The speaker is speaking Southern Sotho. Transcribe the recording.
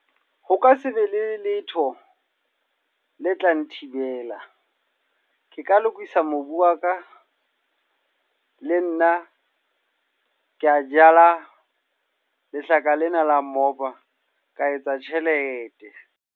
Ho ka se be le letho, le tla nthibela. Ke ka lokisa mobu wa ka, le nna ke a jala lehlaka lena la moba. Ka etsa tjhelete.